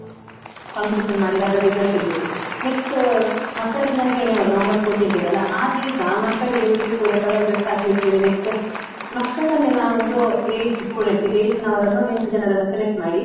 competition ಮಾಡಿ ಅದ್ರ result ತೆಗ್ದಿಟ್ಟಿದು. next ಅಹ್ ಮಕ್ಕಳ ದಿನಾಚರಣೆ ಯಾವಾಗ ನವೆಂಬರ್ fourteenth ಇದೆ ಅಲಾ, ಆ ದಿವ್ಸ ಮಕ್ಕಳಿಗೆಲ್ರಿಗು ಕೂಡ colour dress ಹಾಕ್ಲಿಕ್ಕೇಳಿ, next ಮಕ್ಕಳನ್ನೆ ನಾವೊಂದು eight students ಗೆ eighth ನವರನ್ನು ಎಂಟು ಜನರನ್ನು select ಮಾಡಿ.